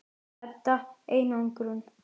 Edda: Einangrun?